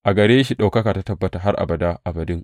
A gare shi ɗaukaka ta tabbata har abada abadin.